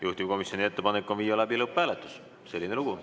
Juhtivkomisjoni ettepanek on viia läbi lõpphääletus, selline lugu.